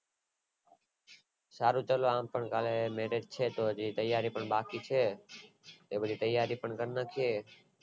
હજુ કાલે merej છે બધી તૈયારી પણ બાકી છે એ બધી તૈયારી પણ કરી નાખીયે